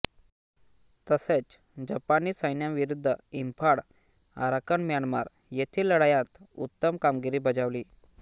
तसेच जपानी सैन्याविरुद्ध इंफाळ आराकन म्यानमार येथील लढायांत उत्तम कामगिरी बजावली